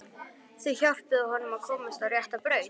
Þau hjálpuðu honum að komast á rétta braut.